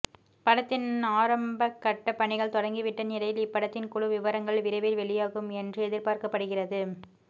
படத்தின் ஆரம்பகட்ட பணிகள் தொடங்கிவிட்ட நிலையில் இப்படத்தின் குழு விவரங்கள் விரைவில் வெளியாகும் என்று எதிர்பார்க்கப்படுகிறது